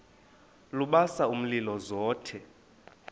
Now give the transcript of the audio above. lubasa umlilo zothe